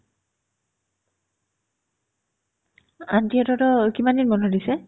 aunty হঁতৰতো কিমানদিন বন্ধ দিছে